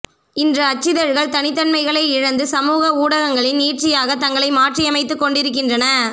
இன்று அச்சிதழ்கள் தனித்தன்மைகளை இழந்து சமூக ஊடகங்களின் நீட்சியாக தங்களை மாற்றியமைத்துக்கொண்டிருக்கின்றன